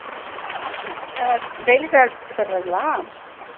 daily travel பண்ணுகிறார்களா